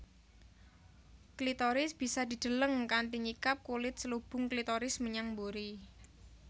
Klitoris bisa dideleng kanthi nyingkap kulit selubung klitoris menyang mburi